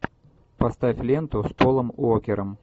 поставь ленту с полом уокером